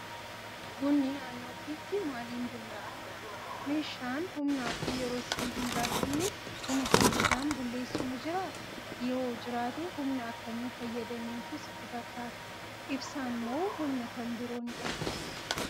Bunni naannoo keetti maaliin bullaa'a? Meeshaan humnaa fi yeroo si hin gaafanne, buna saffisaan bulleessu ni jiraa? Yoo jiraate humna akkamii fayyadameetu sitti fakkaata? Ibsaan moo humna kan birooni dha?